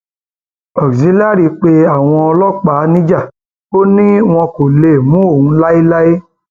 auxillary pé àwọn ọlọpàá níjà ò ní wọn kò lè mú òun láéláé